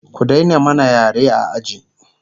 ku Daina mana yare a aji!